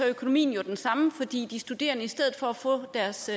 økonomien jo den samme fordi de studerende i stedet for at få deres